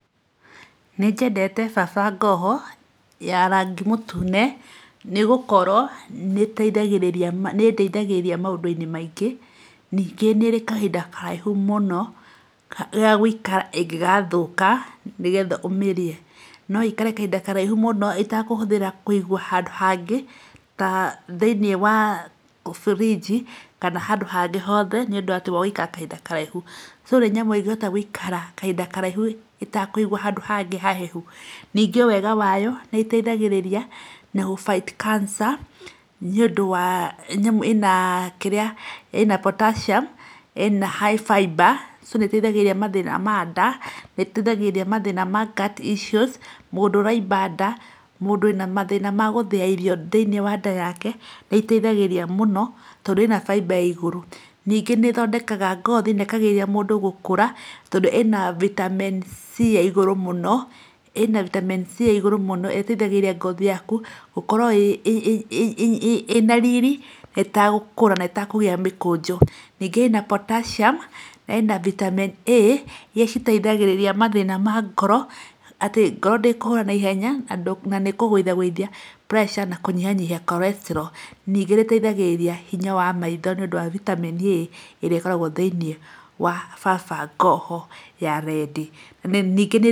Nĩ nyendete kaba ngohwo ya rangi mũtune nĩ gũkorwo nĩ nĩ ĩndithagĩgĩria maũndũ-inĩ maingĩ, ningĩ nĩrĩ kahinda karaihu mũno gagũikara ĩngĩgathũka nĩgetha ũmĩrĩe, no ĩikare kahinda karaihu mũho ĩtekũhũthĩra kũigwo handũ hangĩ ta thĩinĩ wa birinji kana handũ hangĩ hothe nĩ ũndũ wa gũikara kahinda karaihu, so nĩ nyamũ ĩngĩhota gũikara kahinda karaihu ĩtekũigwo handũ hangĩ hahehu, ningĩ wega wayo nĩ ĩteithagĩria na gũ fight cancer nĩ ũndũ ĩna kĩrĩa Potassium ĩna high fiber, so nĩ ĩteithagĩria mathĩna ma nda nĩ ĩteithagĩria mathĩna ma gut issues, mũndũ ũraimba nda, mũndũ wĩna mathĩna ma gũthĩa irio thĩinĩ wa nda yake, nĩ ĩteithagĩria mũno tondũ ĩna fiber ya igũrũ, ningĩ nĩ thondekaga ngothi na ĩgateithĩrĩria mũndũ kwaga gũkũra, tondũ ĩna Vitamin C ya igũrũ mũno, ĩna Vitamin C ya igũrũ mũno, ĩteithagĩria ngothi yaku gũkorwo ĩna rĩroĩ na ĩta gũkũra na ĩtekũgĩa mĩkũnjo, ningĩ ĩna potassium na ĩna Vitamin A iria iteithagĩrĩria mathĩna ma ngoro, atĩ ngoro ndĩkũhũra na ihenya na nĩ kũgũithagũithia pressure na nĩkũnyihanyihia cholestral ningĩ nĩteithagĩrĩria hinya wa maitho nĩ ũndũ wa Vitamin A ĩrĩa ĩkoragwo thĩinĩ wa kaba ngohwo ya redi.